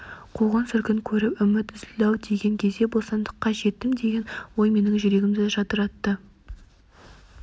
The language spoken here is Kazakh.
қуғын-сүргін көріп үміт үзілді-ау деген кезде бостандыққа жеттім деген ой менің жүрегімді жадыратты